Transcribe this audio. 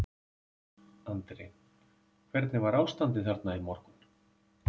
Andri: Hvernig var ástandið þarna í morgun?